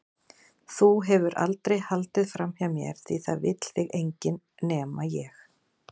Þú hefur aldrei haldið framhjá mér því það vill þig enginn- nema ég.